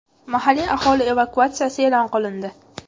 Mahalliy aholi evakuatsiyasi e’lon qilindi.